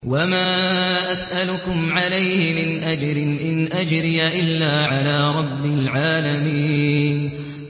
وَمَا أَسْأَلُكُمْ عَلَيْهِ مِنْ أَجْرٍ ۖ إِنْ أَجْرِيَ إِلَّا عَلَىٰ رَبِّ الْعَالَمِينَ